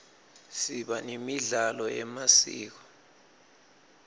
siba nemidlalo yemasiko